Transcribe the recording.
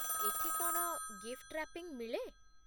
ଏଠି କ'ଣ gift wrapping ମିଳେ ?